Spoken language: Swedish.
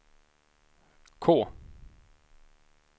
K